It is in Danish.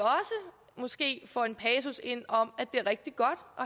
måske også får en passus ind om at det er rigtig